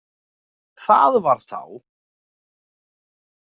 Það var þá!